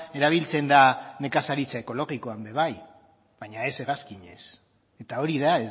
erabiltzen da nekazaritza ekologikoan ere bai baina ez hegazkinez eta hori da